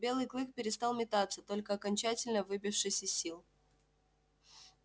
белый клык перестал метаться только окончательно выбившись из сил